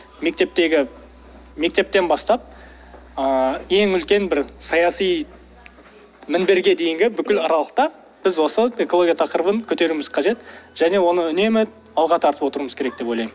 мектептегі мектептен бастап ыыы ең үлкен бір саяси мінберге дейінгі бүкіл аралықта біз осы экология тақырыбын көтеруіміз қажет және оны үнемі алға тартып отыруымыз керек деп ойлаймын